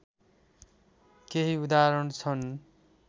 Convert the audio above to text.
केही उदाहरण छन्